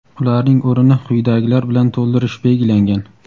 Ularning o‘rnini quyidagilar bilan to‘ldirish belgilangan.